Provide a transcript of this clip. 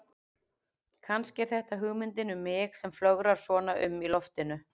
Kannski er þetta hugmyndin um mig sem flögrar svona um í loftinu.